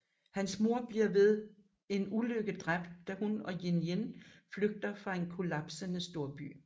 Hans mor bliver ved en ulykke dræbt da hun og Yin Yin flygter fra en kollapsende storby